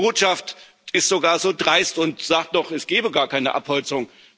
Und die Botschaft ist sogar so dreist und sagt noch, es gebe gar keine Abholzung.